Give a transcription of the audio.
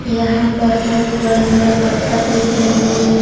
यहां पर बहुत बड़े-बड़े पत्थर दिख रहे हैं बहुत